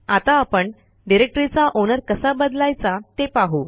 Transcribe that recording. आता आपण डिरेक्टरीचा ओनर कसा बदलायचा ते पाहू